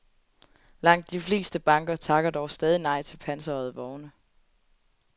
Langt de fleste banker takker dog stadig nej til pansrede vogne.